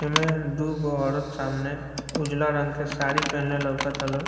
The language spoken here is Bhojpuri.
ए में दूगो औरत सामने उजाला रंग के साड़ी पहिनले लाउक्ता लो।